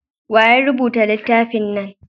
waye ya rubuta littafin nan?